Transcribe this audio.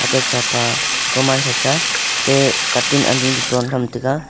atte cha pa komansa cha atte katun ani ley ton tham taga.